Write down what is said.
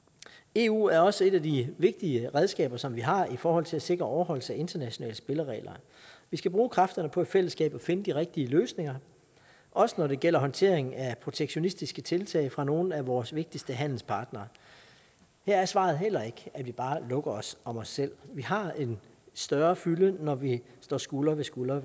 eu er også et af de vigtige redskaber som vi har i forhold til at sikre overholdelse af internationale spilleregler vi skal bruge kræfterne på i fællesskab at finde de rigtige løsninger også når det gælder håndteringen af protektionistiske tiltag fra nogle af vores vigtigste handelspartnere her er svaret heller ikke at vi bare lukker os om os selv vi har en større fylde når vi står skulder ved skulder